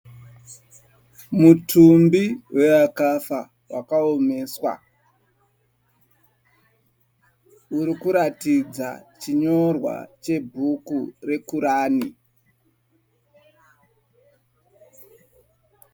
Mutumbi wewakafa wakaomeswa. Uri kuratidza chinyorwa chebhuku reKurani.